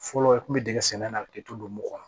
Fɔlɔ i kun be dingɛ sen na ki to don don mugan kɔnɔ